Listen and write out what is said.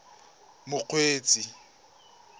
mokgweetsi